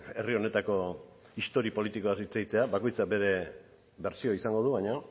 herri honetako historia politikoaz hitz egitea bakoitzak bere bertsioa izango du baina